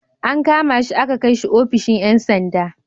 An kama shi aka kai shi ofishin ‘yan sanda.